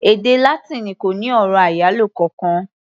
Èdè Látíìnì kò ní ọ̀rọ̀ àyálò kankan.